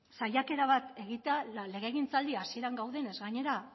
saiakera bat egitea legegintzaldi hasieran gaudenez gainera